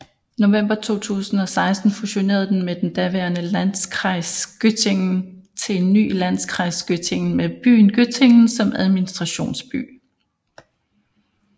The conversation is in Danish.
November 2016 fusionerede den med den daværende Landkreis Göttingen til en ny Landkreis Göttingen med byen Göttingen som administrationsby